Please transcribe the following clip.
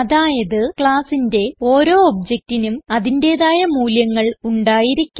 അതായത് ക്ലാസ്സിന്റെ ഓരോ objectനും അതിന്റേതായ മൂല്യങ്ങൾ ഉണ്ടായിരിക്കും